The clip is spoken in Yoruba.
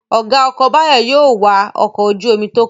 Ọ̀gá ọkọ̀ Báyọ̀ yóò wa ọkọ̀ ojú-omi tó kàn